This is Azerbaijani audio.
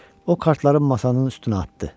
O kartlarını masanın üstünə atdı.